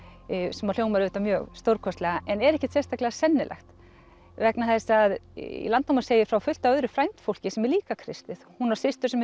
sem að hljómar auðvitað mjög stórkostlega en er ekkert sérstaklega sennilegt vegna þess að í Landnámu segir frá fullt af öðru frændfólki sem er líka kristið hún á systur sem